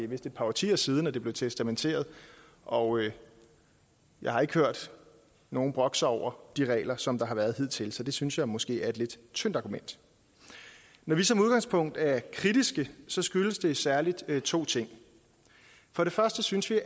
vist et par årtier siden det blev testamenteret og jeg har ikke hørt nogen brokke sig over de regler som der har været hidtil så det synes jeg måske er et lidt tyndt argument når vi som udgangspunkt er kritiske skyldes det særlig to ting for det første synes vi